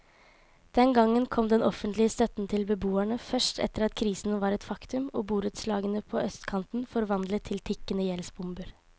Den gangen kom den offentlige støtten til beboerne først etter at krisen var et faktum og borettslagene på østkanten forvandlet til tikkende gjeldsbomber.